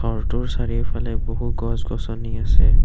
ঘৰটোৰ চাৰিওফালে বহু গছ গছনি আছে।